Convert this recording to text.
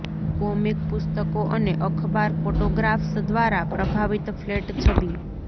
comic પુસ્તકો અને અખબાર ફોટોગ્રાફ્સ દ્વારા પ્રભાવિત ફ્લેટ છબી